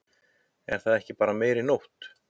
Er það ekki bara meiri nótt?